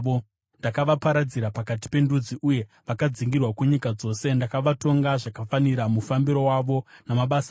Ndakavaparadzira pakati pendudzi, uye vakadzingirwa kunyika dzose; ndakavatonga zvakafanira mufambiro wavo namabasa avo.